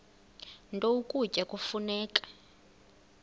nto ukutya kufuneka